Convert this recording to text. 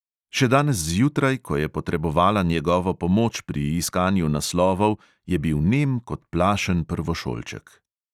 Še danes zjutraj, ko je potrebovala njegovo pomoč pri iskanju naslovov, je bil nem kot plašen prvošolček.